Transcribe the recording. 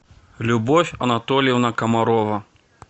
любовь анатольевна комарова